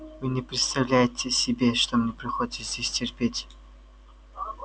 вы не представляете себе что мне приходится здесь терпеть